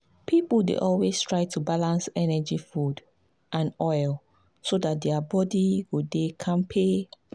people dey always try to balance energy food and oil so dat their body go dey kampe.